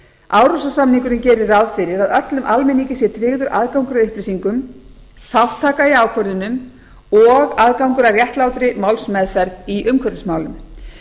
árósasamningurinn gerir ráð fyrir að öllum almenningi sé tryggður aðgangur að upplýsingum þátttaka í ákvörðunum og aðgangur að réttlátri málsmeðferð í umhverfismálum